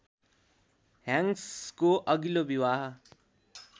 ह्याङ्क्सको अघिल्लो विवाह